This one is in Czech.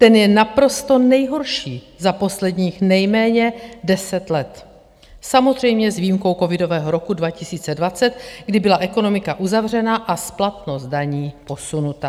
Ten je naprosto nejhorší za posledních nejméně deset let - samozřejmě s výjimkou covidového roku 2020, kdy byla ekonomika uzavřena a splatnost daní posunuta.